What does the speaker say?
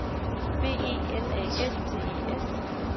B E L A S T E S